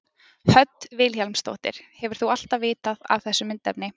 Hödd Vilhjálmsdóttir: Hefur þú alltaf vitað af þessu myndefni?